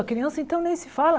A criança, então, nem se fala.